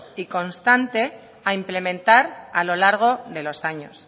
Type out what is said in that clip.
y constante a implementar a lo largo de los años